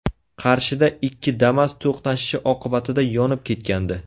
Qarshida ikki Damas to‘qnashishi oqibatida yonib ketgandi .